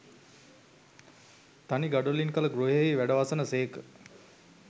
තනි ගඩොලින් කළ ගෘහයෙහි වැඩවසන සේක